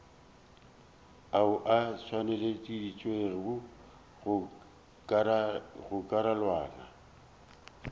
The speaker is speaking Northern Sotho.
ao a tšweleditšwego go karolwana